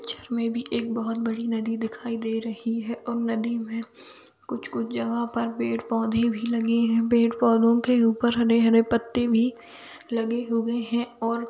Picture मे भी एक बहुत बड़ी नदी दिखाई दे रही है और नदी मे कुछ कुछ जगह पर पेड़-पौधे भी लगे हैपेड़-पौधे के ऊपर भी हरे-हरे पत्ते भी लगे हुए है । और--